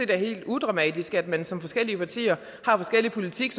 det er helt udramatisk at man som forskellige partier har forskellig politik